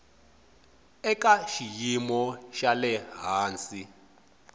eka xiyimo xa le hansi